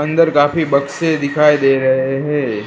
अंदर काफी बक्से दिखाई दे रहे हैं।